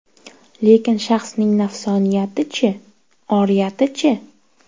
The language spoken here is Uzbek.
Lekin shaxsning nafsoniyati-chi, oriyati-chi?